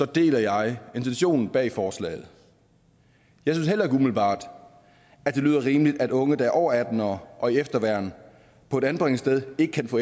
deler jeg intentionen bag forslaget jeg synes heller ikke umiddelbart at det lyder rimeligt at unge der over atten år og i efterværn på et anbringelsessted ikke kan få